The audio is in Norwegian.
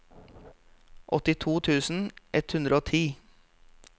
åttito tusen ett hundre og ti